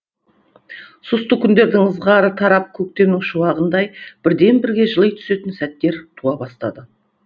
сұсты күндердің ызғары тарап көктемнің шуағындай бірден бірге жыли түсетін сәттер туа бастады